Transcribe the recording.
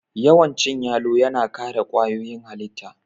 Yawan cin yalo yana kare kwayoyin halitta